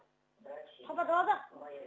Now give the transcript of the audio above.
папа далада